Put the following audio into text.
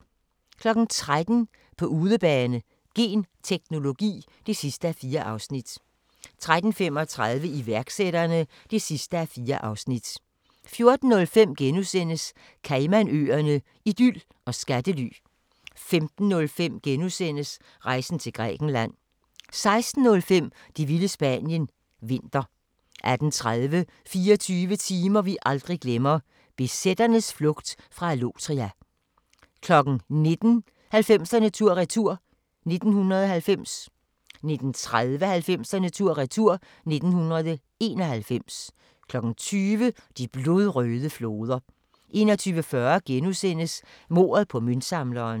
13:00: På udebane: Genteknologi (4:4) 13:35: Iværksætterne (4:4) 14:05: Caymanøerne – idyl og skattely * 15:05: Rejsen til Grækenland * 16:05: Det vilde Spanien – vinter 18:30: 24 timer vi aldrig glemmer: BZ'ernes flugt fra Allotria 19:00: 90'erne tur-retur: 1990 19:30: 90'erne tur-retur: 1991 20:00: De blodrøde floder 21:40: Mordet på møntsamleren (2:8)*